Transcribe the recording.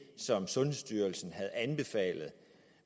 som sundhedsstyrelsen havde anbefalet